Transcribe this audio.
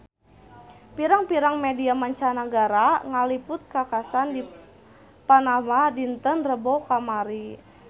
Pirang-pirang media mancanagara ngaliput kakhasan di Panama dinten Rebo kamari